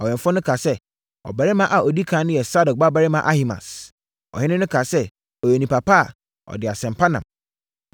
Ɔwɛmfoɔ no kaa sɛ, “Ɔbarima a ɔdi ɛkan no sɛ Sadok babarima Ahimaas.” Ɔhene no kaa sɛ, “Ɔyɛ onipa pa a, ɔde asɛm pa nam.”